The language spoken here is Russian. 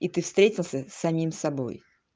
и ты встретился с самим собой